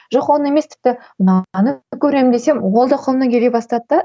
жоқ оны емес тіпті мынаны көремін десем ол да қолымнан келе бастады да